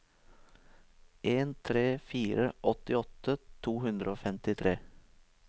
en tre fire fire åttiåtte to hundre og femtitre